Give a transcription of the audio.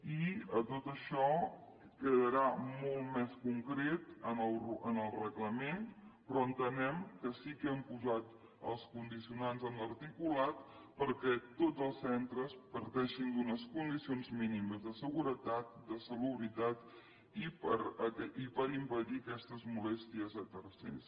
i tot això quedarà molt més concret en el reglament però entenem que sí que hem posat els condicionants en l’articulat perquè tots els centres parteixin d’unes condicions mínimes de seguretat de salubritat i per impedir aquestes molèsties a tercers